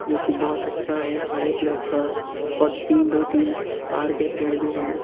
जो कि बहोत अच्छा है हरे कलर का और तीन दो तीन तार के पेड़ भी हैं।